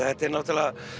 þetta er náttúrulega